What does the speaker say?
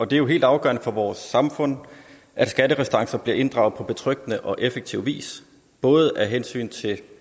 det er jo helt afgørende for vores samfund at skatterestancer bliver inddraget på betryggende og effektiv vis både af hensyn til